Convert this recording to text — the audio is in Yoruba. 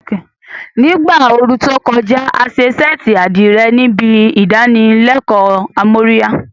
Ní ìgbà ooru tó kọjá, a ṣe ṣẹ́ẹ̀tì àdìrẹ níbi ìdánilẹ́kọ̀ọ́ amóríyá